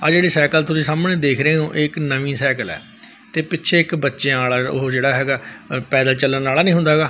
ਆ ਜਿਹੜੀ ਸਾਈਕਲ ਤੁਸੀ ਸਾਹਮਣੇ ਦੇਖ ਰਹੇ ਔਂ ਇਹ ਇੱਕ ਨਵੀਂ ਸਾਈਕਲ ਐ ਤੇ ਪਿੱਛੇ ਇੱਕ ਬੱਚਿਆਂ ਆਲਾ ਉਹ ਜਿਹੜਾ ਹੈਗਾ ਪੈਦਲ ਚੱਲਣ ਆਲਾ ਨਹੀਂ ਹੁੰਦਾ ਹੈਗਾ--